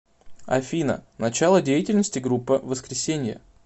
афина начало деятельности группа воскресенье